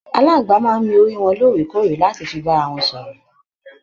Aláàngbá máa n mí orí wọn lóòrèkóòrè láti fí bára wọn sọ̀rọ̀.